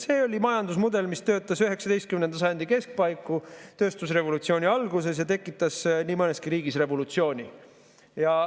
See oli majandusmudel, mis töötas 19. sajandi keskpaiku, tööstusrevolutsiooni alguses ja tekitas nii mõneski riigis revolutsiooni.